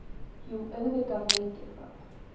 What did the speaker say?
Jú, auðvitað veit ég það.